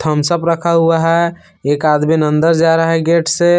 Thums Up खा हुआ है एक आदमी अंदर जा रहा है गेट से।